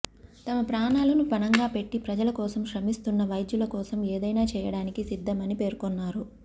తమ ప్రాణాలను పణంగా పెట్టి ప్రజల కోసం శ్రమిస్తున్న వైద్యుల కోసం ఏదైనా చేయడానికి సిద్ధమని పేర్కొన్నారు